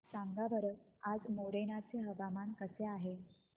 सांगा बरं आज मोरेना चे हवामान कसे आहे